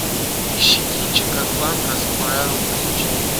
ищи кинчик атлант расправил плечи